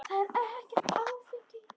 Þetta er ekkert áfengi.